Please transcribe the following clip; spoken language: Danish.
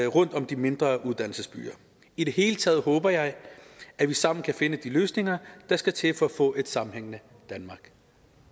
rundt om de mindre uddannelsesbyer i det hele taget håber jeg at vi sammen kan finde de løsninger der skal til for at få et sammenhængende danmark